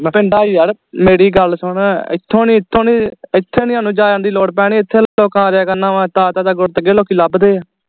ਪਿੰਡ ਚ ਯਾਰ ਮੇਰੀ ਗੱਲ ਸੁਨ ਈਥੋ ਨੀ ਇਥੋਂ ਨੀ ਇਥੇ ਨੀ ਹੰਉ ਜਾਣ ਦੀ ਲੋੜ ਪੈਣੀ ਇਥੇ ਲੋਕ ਆ ਜਾਇਆ ਕਰਨਾ ਵਾ ਲੋਕੀ ਲੱਭਦੇ ਆ